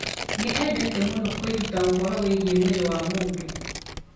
Nĩ eendete mũno kwĩruta ũhoro wĩgiĩ mwĩrĩ wa mũndũ.